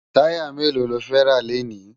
Tàyá méló ló fè rá lénì?